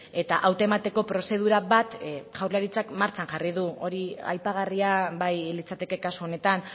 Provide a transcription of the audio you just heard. eta hautemateko prozedura bat jaurlaritzak martxan jarri du hori aipagarria bai litzateke kasu honetan